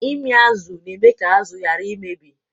Ịmị azụ na-eme ka azụ ghara imebi.